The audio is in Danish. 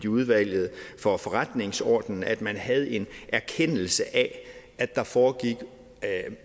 udvalget for forretningsordenen at man havde en erkendelse af at der foregik